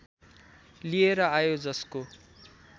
लिएर आयो जसको